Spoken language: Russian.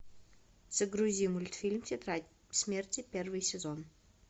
загрузи мультфильм тетрадь смерти первый сезон